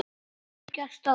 Það hefur gerst áður.